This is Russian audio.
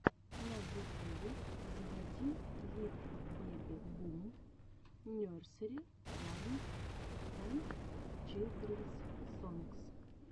на ютюбе заводи литл бэби бум нерсери раймс энд чилдренс сонгс